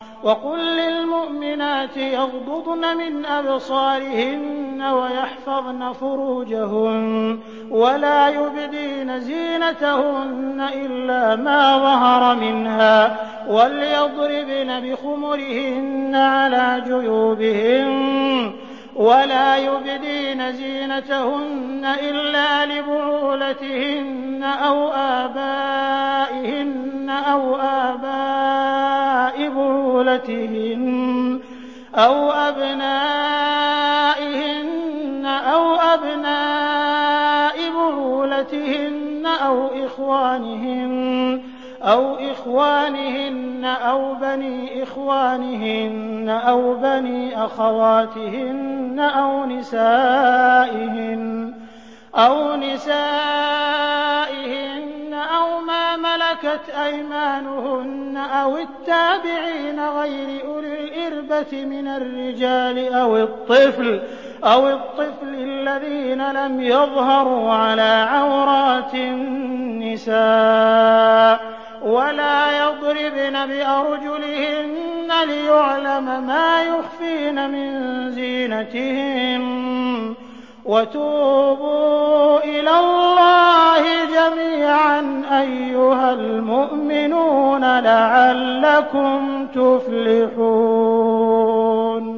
وَقُل لِّلْمُؤْمِنَاتِ يَغْضُضْنَ مِنْ أَبْصَارِهِنَّ وَيَحْفَظْنَ فُرُوجَهُنَّ وَلَا يُبْدِينَ زِينَتَهُنَّ إِلَّا مَا ظَهَرَ مِنْهَا ۖ وَلْيَضْرِبْنَ بِخُمُرِهِنَّ عَلَىٰ جُيُوبِهِنَّ ۖ وَلَا يُبْدِينَ زِينَتَهُنَّ إِلَّا لِبُعُولَتِهِنَّ أَوْ آبَائِهِنَّ أَوْ آبَاءِ بُعُولَتِهِنَّ أَوْ أَبْنَائِهِنَّ أَوْ أَبْنَاءِ بُعُولَتِهِنَّ أَوْ إِخْوَانِهِنَّ أَوْ بَنِي إِخْوَانِهِنَّ أَوْ بَنِي أَخَوَاتِهِنَّ أَوْ نِسَائِهِنَّ أَوْ مَا مَلَكَتْ أَيْمَانُهُنَّ أَوِ التَّابِعِينَ غَيْرِ أُولِي الْإِرْبَةِ مِنَ الرِّجَالِ أَوِ الطِّفْلِ الَّذِينَ لَمْ يَظْهَرُوا عَلَىٰ عَوْرَاتِ النِّسَاءِ ۖ وَلَا يَضْرِبْنَ بِأَرْجُلِهِنَّ لِيُعْلَمَ مَا يُخْفِينَ مِن زِينَتِهِنَّ ۚ وَتُوبُوا إِلَى اللَّهِ جَمِيعًا أَيُّهَ الْمُؤْمِنُونَ لَعَلَّكُمْ تُفْلِحُونَ